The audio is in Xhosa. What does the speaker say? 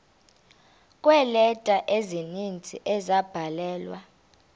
kweeleta ezininzi ezabhalelwa